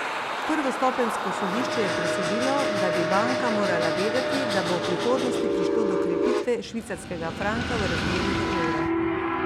Prvostopenjsko sodišče je presodilo, da bi banka morala vedeti, da bo v prihodnosti prišlo do krepitve švicarskega franka v razmerju do evra.